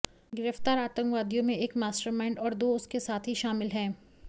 गिरफ़्तार आतंकवादियों में एक मास्टरमाइंड और दो उसके साथी शामिल हैं